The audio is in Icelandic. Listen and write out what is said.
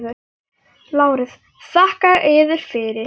LÁRUS: Þakka yður fyrir.